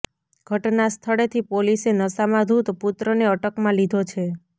ઘટના સ્થળેથી પોલીસે નશામાં ધુત પુત્રને અટકમાં લીધો છે